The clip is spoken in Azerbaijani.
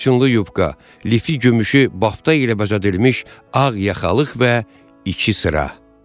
Qırçınlı yubka, lifi gümüşü bafta ilə bəzədilmiş ağ yaxalıq və iki sıra.